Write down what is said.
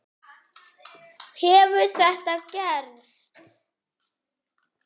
Hefur þetta gerst?